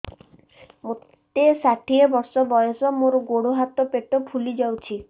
ମୋତେ ଷାଠିଏ ବର୍ଷ ବୟସ ମୋର ଗୋଡୋ ହାତ ପେଟ ଫୁଲି ଯାଉଛି